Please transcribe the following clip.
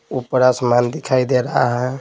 ऊपर आसमान दिखाई दे रहा है।